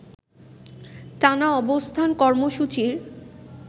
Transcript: টানা অবস্থান কর্মসূচির